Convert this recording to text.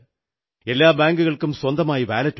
എല്ലാ ബാങ്കുകൾക്കും സ്വന്തമായി വാലറ്റുണ്ട്